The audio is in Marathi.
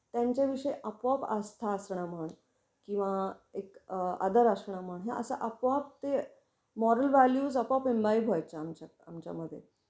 त्यांच्या विषयी आपोआप आस्था असणं म्हण किंवा एक आदर असणं म्हण हे अस आपोआप ते मॉरल व्हाल्यू आपोआप इम्बाईब व्हायच्या आमच्या आमच्या मध्ये.